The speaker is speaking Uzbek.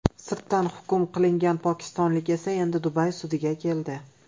Sirtdan hukm qilingan pokistonlik esa endi Dubay sudiga keldi.